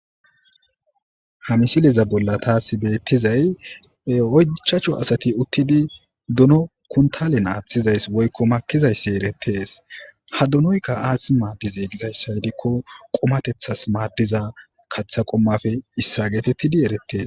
Ha misileza bolla taas beettizay oychachu asati uttidi duno kuntalen aaththizays woykko makizayssi erettees ha dunoyka aath maaddize gizayssa hedikko qomatethas maaddiza katha qomafe issa geetettidi erettees.